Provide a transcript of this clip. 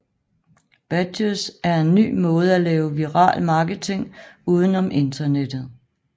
Badges er en nye måde at lave viral marketing uden om internettet